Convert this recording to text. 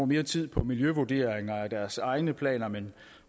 mere tid på miljøvurderinger af deres egne planer men